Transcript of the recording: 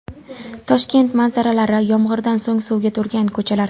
Toshkent manzaralari: Yomg‘irdan so‘ng suvga to‘lgan ko‘chalar .